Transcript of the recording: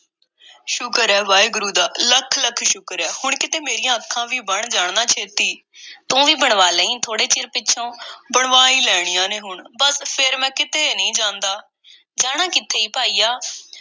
ਸ਼ੁਕਰ ਏ ਵਾਹਿਗੁਰੂ ਦਾ, ਲੱਖ-ਲੱਖ ਸ਼ੁਕਰ ਏ। ਹੁਣ ਕਿਤੇ ਮੇਰੀਆਂ ਅੱਖਾਂ ਵੀ ਬਣ ਜਾਣ ਨਾ, ਛੇਤੀ। ਤੂੰ ਵੀ ਬਣਵਾ ਲਈਂ, ਥੋੜ੍ਹੇ ਚਿਰ ਪਿੱਛੋਂ। ਬਣਵਾ ਈ ਲੈਣੀਆਂ ਨੇ ਹੁਣ। ਬੱਸ, ਫੇਰ ਮੈਂ ਕਿਤੇ ਨਹੀਂ ਜਾਂਦਾ। ਜਾਣਾ ਕਿੱਥੇ ਆ, ਭਾਈਆ?